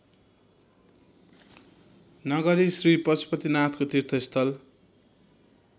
नगरी श्रीपशुपतिनाथको तीर्थस्थल